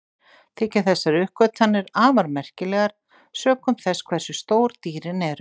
Þykja þessar uppgötvanir afar merkilegar sökum þess hversu stór dýrin eru.